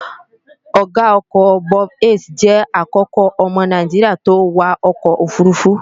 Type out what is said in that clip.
Ọ̀ga ọkọ̀ Bob Hayes jẹ́ àkọ́kọ́ ọmọ naijiria tó wa ọkọ̀ òfurufú